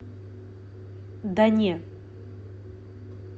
да не